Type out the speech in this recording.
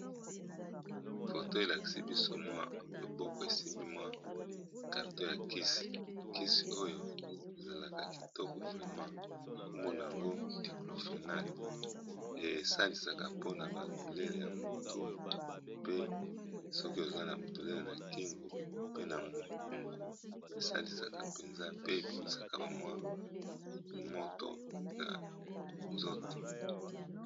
Photo elakisi biso loboko esimbi carton ya kasi oyo ezalaka kitoko komombo nayango diclofenac ezali sokî oza na douleur mutu, kingo, mokongo pe nawa moto na nzoto.